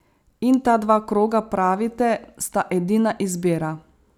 In ta dva kroga, pravite, sta edina izbira.